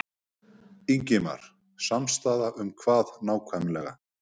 Ingimar: Samstaða um hvað nákvæmlega?